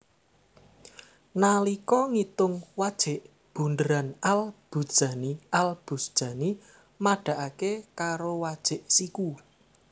Nalika ngitung wajik bundheran Al Buzjani Al Buzjani madhaake karo wajik siku